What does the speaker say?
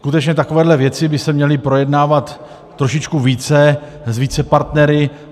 Skutečně takovéhle věci by se měly projednávat trošičku více, s více partnery.